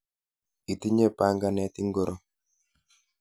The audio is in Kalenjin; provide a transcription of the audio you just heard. Itinye panganet ingoro?